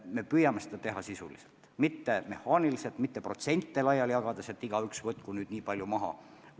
Me püüame seda teha sisuliselt, mitte mehaaniliselt, mitte protsente laiali jagades, et igaüks võtku nüüd nii palju maha.